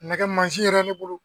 Nɛgɛ maasi yɛrɛ ne bolo